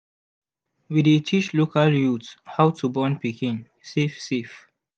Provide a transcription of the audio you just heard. we dey teach local youth how to born pikin safe safe